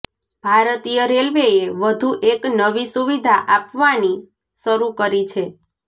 ભારતીય રેલ્વેએ વધુ એક નવી સુવિધા આપવાની શરૂ કરી છે